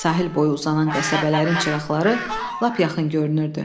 Sahil boyu uzanan qəsəbələrin çıraqları lap yaxın görünürdü.